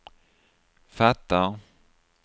fattar